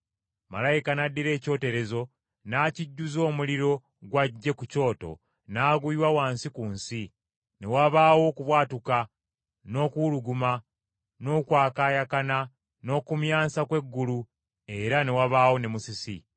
Malayika n’addira ekyoterezo n’akijjuza omuliro gw’aggye ku kyoto n’aguyiwa wansi ku nsi, ne wabaawo okubwatuka, n’okuwuluguma, n’okwakaayakana, n’okumyansa kw’eggulu era ne wabaawo ne musisi.